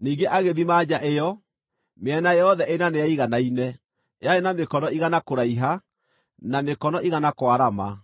Ningĩ agĩthima nja ĩyo: Mĩena yothe ĩna nĩyaiganaine, yarĩ na mĩkono igana kũraiha, na mĩkono igana kwarama.